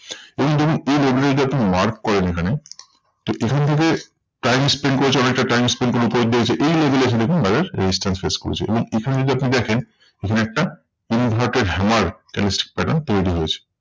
এখানে দেখুন এই level এ যদি আপনি mark করেন এখানে, তো এখান থেকে time spend করেছে অনেকটা time spend এই level এ এখানে আপনি resistance face করেছে। এবং এখানে যদি আপনি দেখেন এখানে একটা inverted hammer candlestick pattern তৈরী হয়েছে।